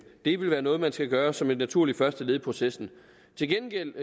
det vil være noget man skal gøre som et naturligt første led i processen til gengæld